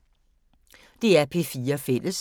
DR P4 Fælles